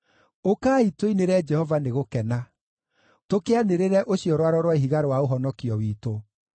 Ũkai, tũinĩre Jehova nĩ gũkena; tũkĩanĩrĩre ũcio Rwaro rwa Ihiga rwa ũhonokio witũ.